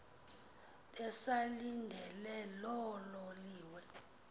besalindele loo loliwe